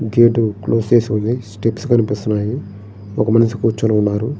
Gate close చేసి ఉంది steps కనిపిస్తూ ఉన్నాయి ఒక మనిషి కూర్చుని ఉన్నారు.